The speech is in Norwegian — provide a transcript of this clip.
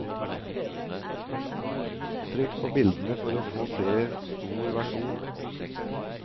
Trykk på bildene for å få se stor versjon.